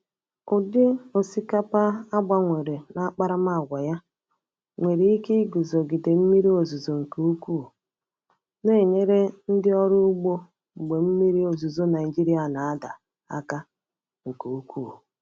Ụdị osikapa a gbanwere n’akparamàgwà ya nwere ike iguzogide mmiri ozuzo nke ukwuu, na-enyere ndị ọrụ ugbo mgbe mmiri ozuzo Naịjirịa na-ada aka nke ukwuu.